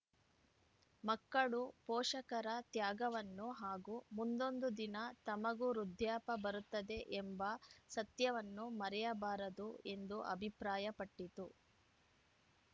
ಮಕ್ಕಳು ಪೋಷಕರ ತ್ಯಾಗವನ್ನು ಹಾಗೂ ಮುಂದೊಂದು ದಿನ ತಮಗೂ ವೃದ್ಧಾಪ್ಯ ಬರುತ್ತದೆ ಎಂಬ ಸತ್ಯವನ್ನು ಮರೆಯಬಾರದು ಎಂದು ಅಭಿಪ್ರಾಯಪಟ್ಟಿತು